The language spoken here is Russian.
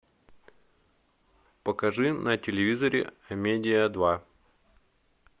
покажи на телевизоре амедиа два